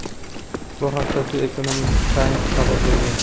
Bu haqda "The Economic Times" xabar bergan.